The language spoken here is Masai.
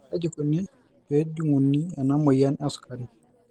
KAJI ikoni pee ejunguni ena moyian e sukari?